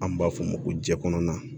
An b'a f'o ma ko jɛkaman